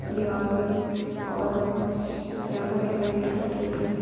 दीवार पे और यहां पर एक रेल पटरी दिख रही है।